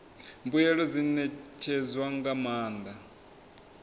mbuelo dzi ṋetshedzwa nga maanḓa